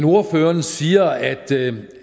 ordføreren siger